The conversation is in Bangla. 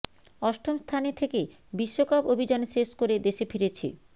অষ্টম স্থানে থেকে বিশ্বকাপ অভিযান শেষ করে দেশে ফিরেছে